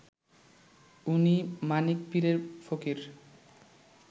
উনি মানিক পীরের ফকির